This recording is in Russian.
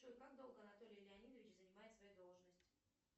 джой как долго анатолий леонидович занимает свою должность